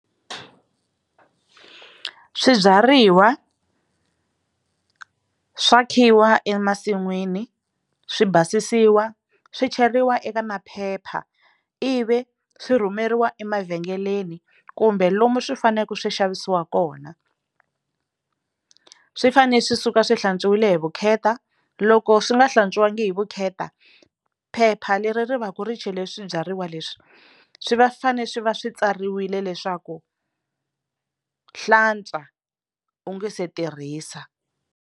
Swibyariwa swa khiwa emasin'wini swi basisiwa swi cheriwa eka maphepha ivi swi rhumeriwa emavhengeleni kumbe lomu swi faneleke swi xavisiwa kona swi fanele swi suka swi hlantswiwile hi vukheta loko swi nga hlantswiwanga hi vukheta phepha leri ri va ku ri chele swibyariwa leswi swi va fane swi va swi tsariwile leswaku hlantswa u nga se tirhisa.